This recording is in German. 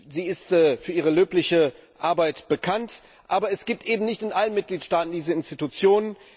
Sie ist für ihre löbliche Arbeit bekannt, aber es gibt eben nicht in allen Mitgliedstaaten diese Institutionen.